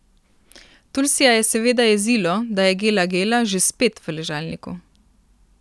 Tulsija je seveda jezilo, da je Gela Gela že spet v ležalniku.